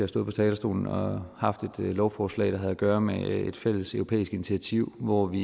stået på talerstolen og haft et lovforslag der havde et gøre med et fælleseuropæisk initiativ hvor vi